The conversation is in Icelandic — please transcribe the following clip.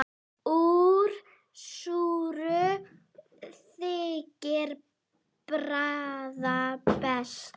Úr súru þykir bragða best.